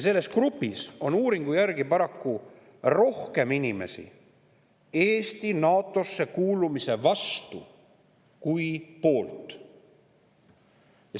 Selles grupis on uuringu järgi paraku rohkem inimesi Eesti NATO‑sse kuulumise vastu kui poolt.